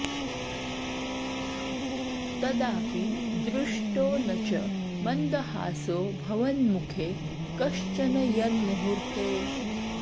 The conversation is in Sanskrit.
तदापि दृष्टो न च मन्दहासो भवन्मुखे कश्चन यन्मुहूर्ते